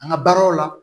An ka baaraw la